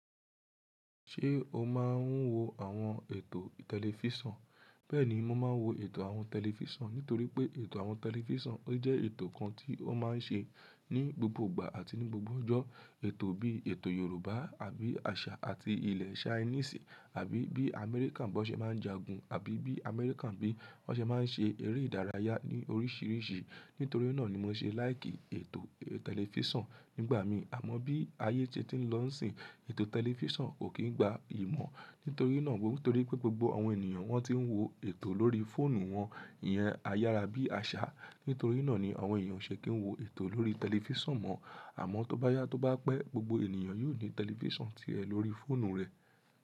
Ṣé o máa ń wo àwọn ètò tẹlifíṣàn? Bẹ́ẹ̀ni, mo máa ń wo ètò àwọn tẹlifíṣàn, nítorí pé ètò àwọn tẹlifíṣàn o jẹ́ ètò kan tí ó máa ń ṣe ní gbogbo ìgbà àti ní gbogbo ọjọ́. Ètò bí ètò Yorùbá àbí àṣà àti ilẹ̀ Ṣainíìsì àbí bí Amẹ́ríkà bo n ṣe máa ń jagun, àbí bí Amẹ́ríkà bi won ṣe máa ń ṣe eré ìdárayá ní oríṣiríṣi. Nítorí náà ni mo ṣe láìkì ètò tẹlifíṣàn nígbà mi. Àmọ́ bí ayé se ti ń lọ sin, ètò tẹlifíṣàn kò kí ń gba ìmọ̀. Nítorí náà, nítorí pé gbogbo àwọn ènìyàn wọ́n ti ń wo ètò lórí fóònù wọn. Iyẹn ayára bí àṣà. Nítorí náà ni àwọn èeyàn o ṣe kì í wo ètò lórí tẹlifíṣàn mọ́. Àmọ́ tó bá yá tó bá pẹ́, gbogbo ènìyàn yóò ní tẹlifíṣàn tirẹ̀ lórí fóònù rẹ̀.